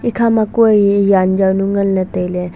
eekhaa ma kue eh jaan jau nu nganle taile.